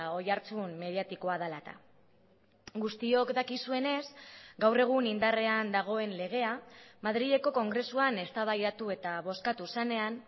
oihartzun mediatikoa dela eta guztiok dakizuenez gaur egun indarrean dagoen legea madrileko kongresuan eztabaidatu eta bozkatu zenean